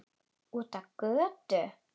Út á götu.